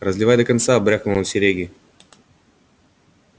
разливай до конца брякнул он серёге